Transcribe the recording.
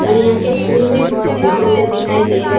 और यहाँ के फूल भी बहुत सुंदर दिखाए दे रहे --